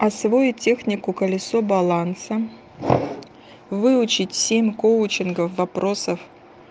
освоить технику колесо баланса выучить семь коучинговых вопросов